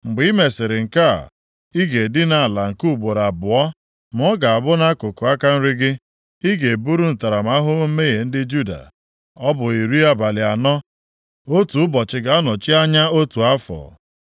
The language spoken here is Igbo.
“Mgbe i mesịrị nke a, ị ga-edina ala nke ugboro abụọ, ma ọ ga-abụ nʼakụkụ aka nri gị, ị ga-eburu ntaramahụhụ mmehie ndị Juda. Ọ bụ iri abalị anọ, otu ụbọchị ga-anọchi anya otu afọ.